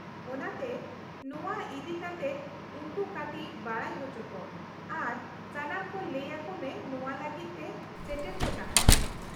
-ᱚᱱᱟᱛᱮ ᱱᱚᱶᱟ ᱤᱫᱤᱠᱟᱛᱮᱫ ᱩᱱᱠᱩ ᱠᱟᱹᱴᱤᱪ ᱵᱟᱰᱟᱭ ᱦᱚᱪᱚ ᱠᱚᱢ ᱟᱨ ᱥᱟᱱᱟᱢ ᱠᱚ ᱞᱟᱹᱭ ᱟᱠᱚ ᱢᱮ ᱱᱚᱶᱟ ᱞᱟᱹᱜᱤᱫ ᱛᱮ ᱥᱮᱴᱮᱨ ᱠᱚ ᱛᱟᱦᱮᱱ ᱾